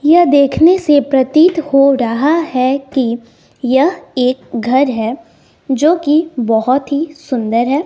यह देखने से प्रतीत हो रहा है कि यह एक घर है जो कि बहुत ही सुंदर है।